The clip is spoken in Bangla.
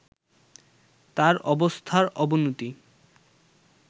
তার অবস্থার অবনতি